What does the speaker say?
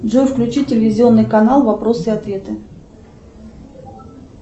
джой включи телевизионный канал вопросы и ответы